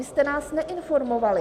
Vy jste nás neinformovali.